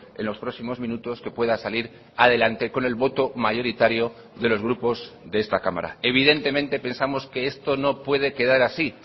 en los próximos minutos que pueda salir adelante con el voto mayoritario de los grupos de esta cámara evidentemente pensamos que esto no puede quedar así